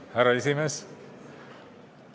Härra esimees!